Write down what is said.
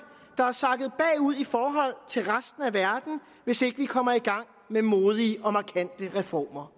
der er sakket bagud i forhold til resten af verden hvis ikke vi kommer i gang med modige og markante reformer